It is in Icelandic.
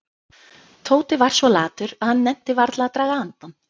Tóti var svo latur að hann nennti varla að draga andann.